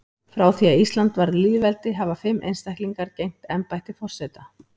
Frá því að Ísland varð lýðveldi hafa fimm einstaklingar gegnt embætti forseta.